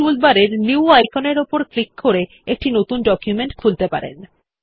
আপনি টুলবার এর নিউ আইকনের উপর ক্লিক করে একটি নতুন ডকুমেন্ট খুলতে পারেন